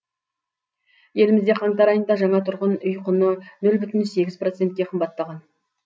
елімізде қаңтар айында жаңа тұрғын үй құны нөл бүтін сегіз процентке қымбаттаған